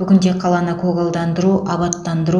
бүгінде қаланы көгалдандыру абаттандыру